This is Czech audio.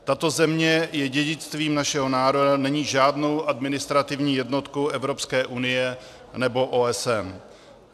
Tato země je dědictvím našeho národa, není žádnou administrativní jednotkou Evropské unie nebo OSN.